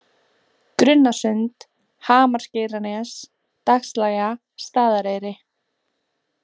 Grunnasund, Hamarsgeiranes, Dagslægja, Staðareyri